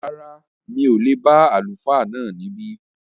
Rárá, mi ò lè bá Àlùfáà náà níbí